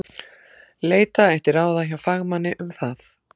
Leita ætti ráða hjá fagmanni um það.